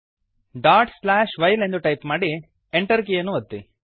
dot slash while ಎಂದು type ಮಾಡಿ Enter ಕೀಯನ್ನು ಒತ್ತಿ